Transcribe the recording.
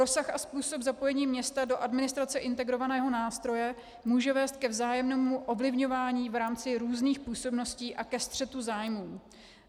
Rozsah a způsob zapojení města do administrace integrovaného nástroje může vést ke vzájemnému ovlivňování v rámci různých působností a ke střetu zájmů.